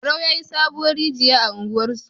Barau yayi sabuwar rigiya a unguwar su